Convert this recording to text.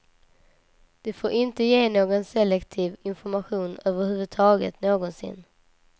De får inte ge någon selektiv information över huvud taget, någonsin.